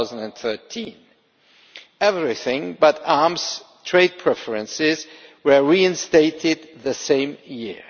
2013. Everything But Arms trade preferences was also reinstated that year.